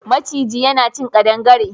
Maciji yana cin ƙadangare.